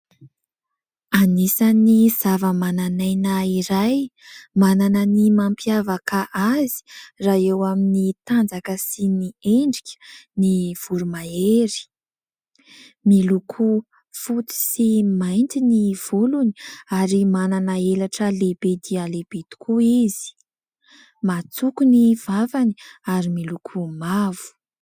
Anisan'ny zava-mananaina iray manana ny mampiavaka azy, raha eo amin'ny tanjaka sy ny endrika, ny voromahery. Miloko fotsy sy mainty ny volony, ary manana elatra lehibe dia lehibe tokoa izy. Matsoko ny vavany, ary miloko mavo.